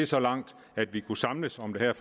så langt at vi kunne samles om det her